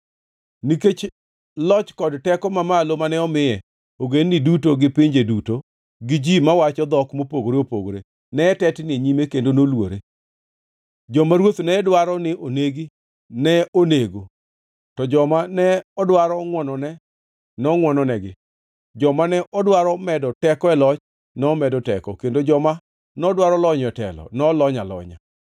Nikech loch kod teko mamalo mane omiye, ogendini duto, gi pinje duto, gi ji mawacho dhok mopogore opogore ne tetni e nyime kendo noluore. Joma ruoth ne dwaro ni onegi, ne onego; to joma ne odwaro ngʼwonone, nongʼwononegi; joma ne odwaro medo teko e loch, nomedo teko; kendo joma nodwaro lonyo e telo, nolonyo alonya.